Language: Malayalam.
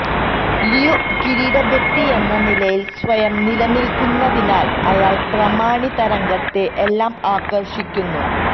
ലിയോ ഒരു കിരീട വ്യക്തിയെന്ന നിലയിൽ സ്വയം നിലനില്ക്കുന്നതിനാൽ അയാൾ പ്രമാണിതരംഗത്തെ എല്ലാം ആകർഷിക്കുന്നു